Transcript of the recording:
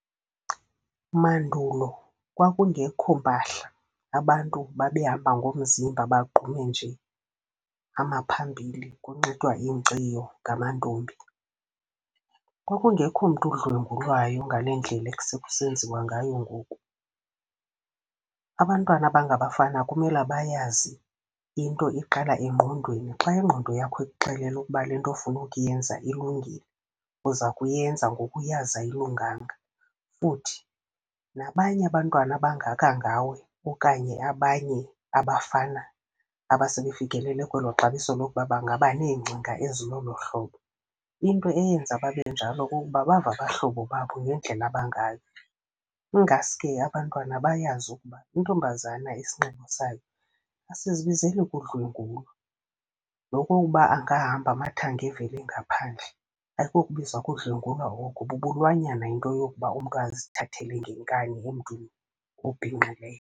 Mandulo kwakungekho mpahla, abantu babehamba ngomzimba bagqume nje amaphambili, kunxitywa inkciyo ngamantombi. Kwakungekho mntu udlwengulwayo ngale ndlela esekusenziwa ngayo ngoku. Abantwana abangabafana kumela bayazi into iqala engqondweni. Xa ingqondo yakho ikuxelele ukuba le nto ofuna ukuyenza ilungile, uza kuyenza ngoku uyazi ayilunganga. Futhi nabanye abantwana abangaka ngawe okanye abanye abafana abasebefikelele kwelo xabiso lokuba bangaba neengcinga ezilolo hlobo, into eyenza babe njalo kukuba bava abahlobo babo ngendlela abangayo. Ingaske abantwana bayazi ukuba intombazana isinxibo sayo asizibizeli kudlwengulwa. Nokokuba angahamba amathanga evele ngaphandle ayikokubizwa kodlwengulwa oko, bubulwanyana into yokuba umntu azithathele ngenkani emntwini obhinqileyo.